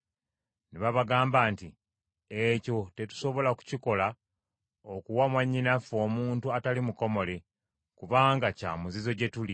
Ne babagamba nti, “Ekyo tetusobola kukikola okuwa mwannyinaffe omuntu atali mukomole, kubanga kya muzizo gye tuli.